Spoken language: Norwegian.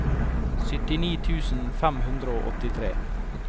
syttini tusen fem hundre og åttitre